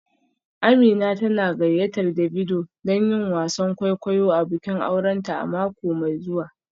Amina tana gayyatar Davido don yin wasan kwaikwayo a bikin aurenta a mako mai zuwa